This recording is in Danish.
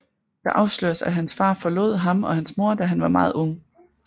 Der afsløres at hans far forlod ham og hans mor da han var meget ung